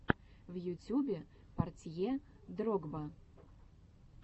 в ютюбе портье дрогба